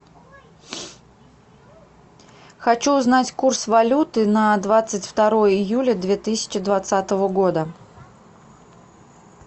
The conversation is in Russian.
хочу узнать курс валюты на двадцать второе июля две тысячи двадцатого года